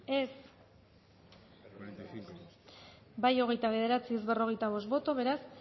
dezakegu bozketaren emaitza onako izan da hirurogeita hamalau eman dugu bozka hogeita bederatzi boto aldekoa cuarenta y cinco contra beraz